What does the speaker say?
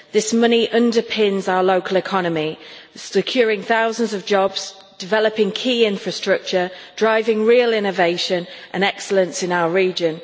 This money underpins our local economy, securing thousands of jobs, developing key infrastructure and driving real innovation and excellence in our region.